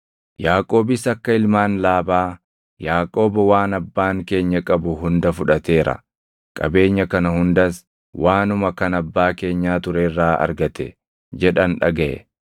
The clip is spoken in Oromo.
Yaaqoobis akka ilmaan Laabaa, “Yaaqoob waan abbaan keenya qabu hunda fudhateera; qabeenya kana hundas waanuma kan abbaa keenyaa ture irraa argate” jedhan dhagaʼe.